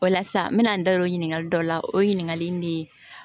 O la sisan n mɛna n da don o ɲininkali dɔ la o ye ɲininkali in de ye